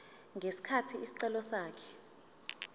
ngesikhathi isicelo sakhe